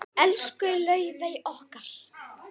Elsku Laufey okkar.